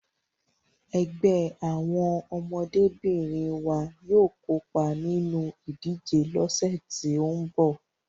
Ẹgbẹ́ àwọn ọmọdébìnrin wa yóò kópa nínú ìdíje lọ́sẹ̀ tí ń bọ̀.